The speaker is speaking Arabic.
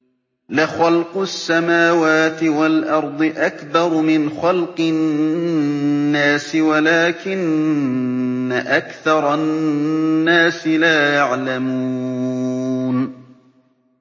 لَخَلْقُ السَّمَاوَاتِ وَالْأَرْضِ أَكْبَرُ مِنْ خَلْقِ النَّاسِ وَلَٰكِنَّ أَكْثَرَ النَّاسِ لَا يَعْلَمُونَ